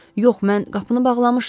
Yox, mən qapını bağlamışdım.